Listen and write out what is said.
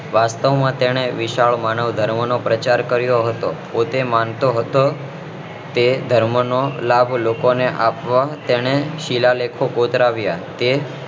વાસ્તવ માં તેને વિશાલ માનવધર્મો નો પ્રચાર કર્યો હતો પોતે માનતો હતો તે ધર્મ નો લાભ લોકો ને આપવા તેને શીલા લેખો કોતરાવ્યા તે